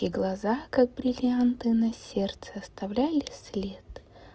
и глаза как бриллианты на сердце оставляли след